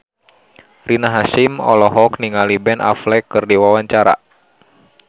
Rina Hasyim olohok ningali Ben Affleck keur diwawancara